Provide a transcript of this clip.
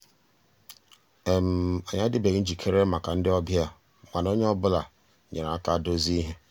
ànyị́ àdị́beghị́ njìkéré màkà ndị́ ọ̀bịá mànà ónyé ọ́ bụ́là nyéré àká dòzié íhé.